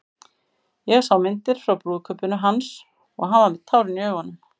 Ég sá myndir frá brúðkaupinu hans og hann var með tárin í augunum.